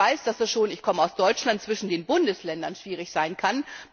Ich weiß, dass das ich komme aus Deutschland schon zwischen den Bundesländern schwierig sein kann.